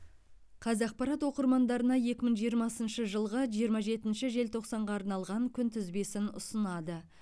қазақпарат оқырмандарына екі мың жиырмасыншы жылғы жиырма жетінші желтоқсанға арналған күнтізбесін ұсынады